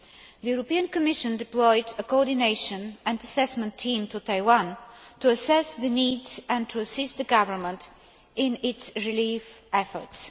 The European Commission deployed a coordination and assessment team to Taiwan to assess the needs and to assist the Government in its relief efforts.